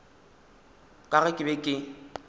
ka ge ke be ke